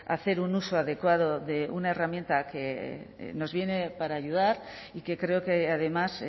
hacer un uso adecuado de una herramienta que nos viene para ayudar y que creo que además